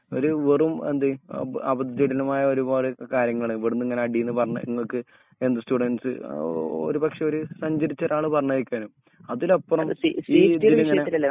ഒരു വെറും എന്ത് അപരിചിതനുമായ ഒരുപാട് കാര്യങ്ങൾ ഇവ്ട്ന്ങ്ങനെ അടീന്ന് പറഞ് ഇങ്ങക്ക് എന്ത് സ്റ്റുഡൻസ് ഏഹ് ഓ ഒരുപക്ഷെ ഒര് സഞ്ചരിച്ച ഒരാൾ പറഞ്ഞേകാരം അതിലപ്പുറം